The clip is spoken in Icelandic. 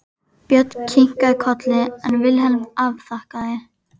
Björn kinkaði kolli en Vilhelm afþakkaði.